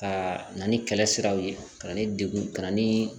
Ka na ni kɛlɛ siraw ye ka na ni degun ka na ni